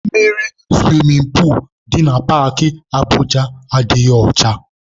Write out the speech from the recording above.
Mmiri suwimin puulu dị na Paakị Abụja adịghị ọcha.